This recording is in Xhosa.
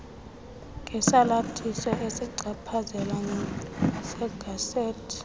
ngesalathiso esichaphazelekayo segazethi